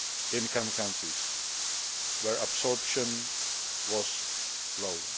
income countries where absorption was low.